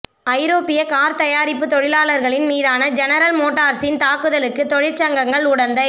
ஐரோப்பிய கார்த் தயாரிப்புத் தொழிலாளர்களின் மீதான ஜெனரல் மோட்டார்ஸின் தாக்குதலுக்கு தொழிற்சங்கங்கள் உடந்தை